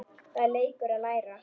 Það er leikur að læra